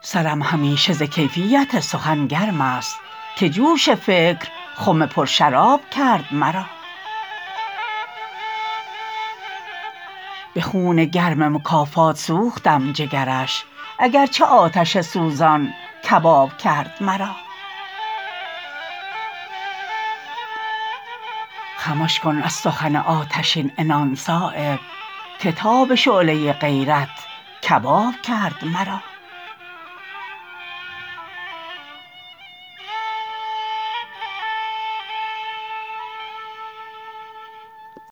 سرم همیشه ز کیفیت سخن گرم است که جوش فکر خم پر شراب کرد مرا به خون گرم مکافات سوختم جگرش اگر چه آتش سوزان کباب کرد مرا خمش کن از سخن آتشین عنان صایب که تاب شعله غیرت کباب کرد مرا